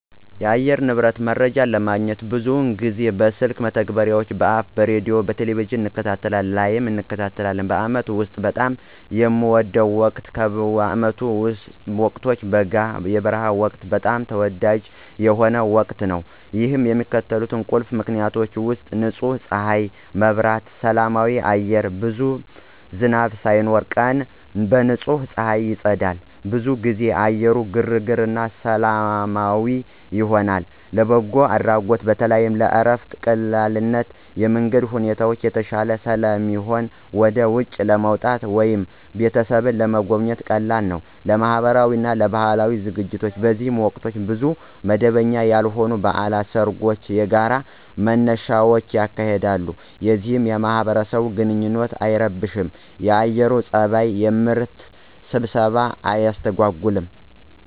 የአየር ንብረት መረጃ ለማግኘት ብዙውን ጊዜ በስልክ መተግበሪያዎች (Apps) በሬዲዮ፣ በቴሊቪዥን እንከታተላለን ላይ እንከታተላለን። በአመቱ ውስጥ በጣም የሚወደው ወቅት ከዓመቱ ወቅቶች በጋ (የበረሃ ወቅት) በጣም ተወዳጅ የሆነው ወቅት ነው። ይህ በሚከተሉት ቁልፍ ምክንያቶች ውሰጥ · ንጹህ ከፀሐይ መብራት እና ሰላማዊ አየር ብዙም ዝናብ ሳይኖር፣ ቀን በንጹህ ፀሐይ ይጸዳል። ብዙውን ጊዜ አየሩ ግርግር እና ሰላማዊ ይሆናል። · ለበጎ አድራጎት በተለይም ለእረፍት ቀላልነት የመንገድ ሁኔታዎች የተሻሉ ስለሚሆኑ ወደ ውጪ ለመውጣት ወይም ቤተሰብን ለመጎብኘት ቀላል ነው። · ለማህበራዊ እና ለባህላዊ ዝግጅቶች በዚህ ወቅት ብዙ መደበኛ ያልሆኑ በዓላት፣ ሰርጎች እና የጋራ መነሻዎች ይካሄዳሉ፣ ይህም የማህበረሰብ ግንኙነትን አይረብሽም የአየር ፀባዩ። የምርት ስብሰባን አያስተጎጉልም።